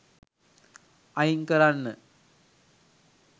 අයින් කරන්න.